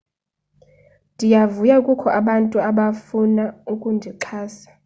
ndiyavuya kukho abantu abafuna ukundixhasa